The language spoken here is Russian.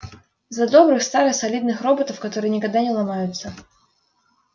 за добрых старых солидных роботов которые никогда не ломаются